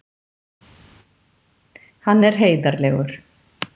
Hann er heiðarlegur.